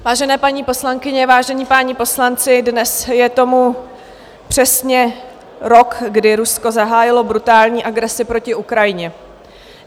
Vážené paní poslankyně, vážení páni poslanci, dnes je tomu přesně rok, kdy Rusko zahájilo brutální agresi proti Ukrajině.